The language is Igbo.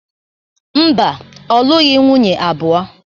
Mba, ọ lụghị nwunye abụo.